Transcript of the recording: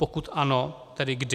Pokud ano, tedy kdy?